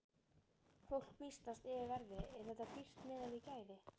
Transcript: Fólk býsnast yfir verði, er þetta dýrt miðað við gæði?